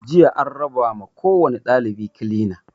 Jiya an raba ma kowani ɗalibi kilina